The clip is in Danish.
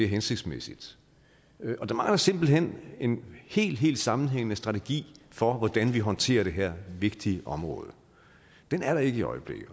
hensigtsmæssigt der mangler simpelt hen en helt helt sammenhængende strategi for hvordan vi håndterer det her vigtige område den er der ikke i øjeblikket